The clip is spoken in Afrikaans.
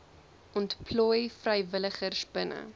ontplooi vrywilligers binne